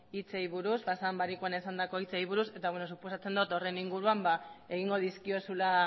hitzei buruz pasaden barikuan esandako hitzei buruz eta suposatzen dut horren inguruan egingo dizkiozula